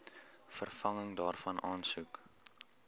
vervanging daarvan aansoek